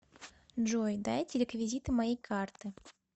джой дайте реквизиты моей карты